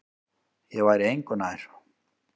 Ég væri engu nær.